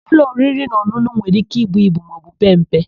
Ụlọ oririnaọn̄ụn̄ụ nwere íké ibu ibu maọbụ pee mpe.